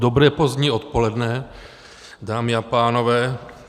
Dobré pozdní odpoledne, dámy a pánové.